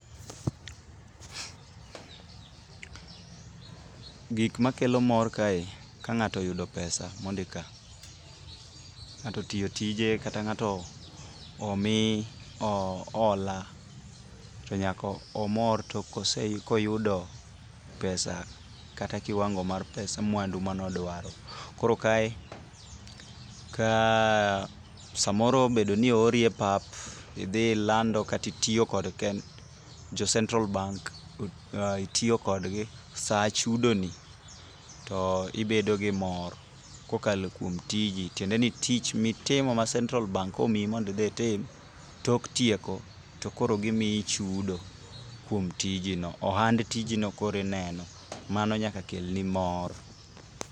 Gik makelo mor kae ka ng'ato oyudo pesa mondik ka. Ng'ato otiyo tije kata ng'ato omi hola ,to nyaka omor to koyudo pesa kata kiwango mar mwandu manodwaro. Koro kae, kaa samoro obedo ni oori e pap, idhi ilando kata itiyo kod jo Central bank, itiyo kodgi, sa chudoni, to ibedo gi mor kokalo kuom tiji. Tiendeni tich mitimo ma central bank omiyi mondo idhi itim, tok tieko, tokoro gimiyi chudo kuom tijini. Ohand tijino koro ineno. Mano nyaka kelni mor.